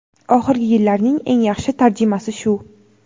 Oxirgi yillarning eng yaxshi tarjimasi shu.